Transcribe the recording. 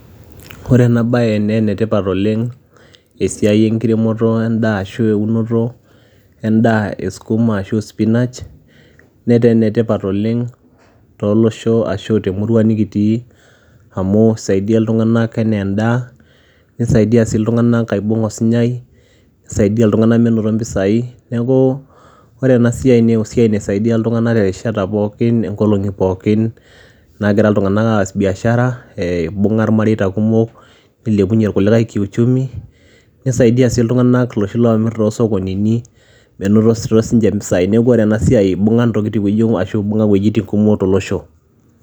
Ore ena baye nee ene tipat oleng' esiai enkiremoto endaa ashu eunoto endaa e skuma ashu spinach, netaa ene tipat oleng' too losho ashu te murua nekitii amu isaidia iltung'anak ene ndaa, nisaidia sii iltung'anak aibung' osinyai, nisaidia iltung'anak minoto mpisai. Neeku ore ena siai nee esiai naisaidia iltung'anak erishata pookin inkolong'i pookin naagira iltung'anak aas biashara ee ibung'a irmareita kumok, nilepunye irkulikai kiuchumi, nisaidia sii iltung'anak iloshi loomir too sokonini menotito siinche mpisai. Neeku ore ena siai ibung'a intokitin oyiong' ashu ibung'a iwuejitin kumok olosho.